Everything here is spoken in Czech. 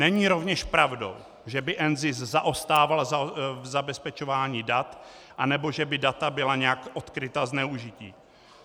Není rovněž pravdou, že by NZIS zaostával v zabezpečování dat nebo že by data byla nějak odkryta ke zneužití.